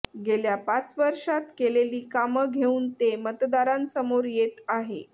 गेल्या पाच वर्षांत केलेली कामं घेऊन ते मतदारांसमोर येत आहे